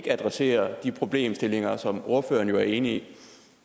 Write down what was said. adresserer de problemstillinger som ordføreren jo er enig